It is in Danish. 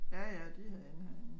Ja ja de havde indhegning